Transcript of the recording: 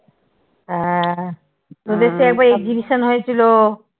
হ্যাঁ তোদের সেই একবার exhibition হয়েছিল।